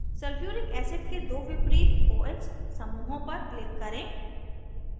sulphuric acid के दो विपरीत oh समूहों पर click करें